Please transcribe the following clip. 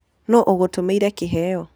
Nũ ũgũtũmĩĩre kĩheo?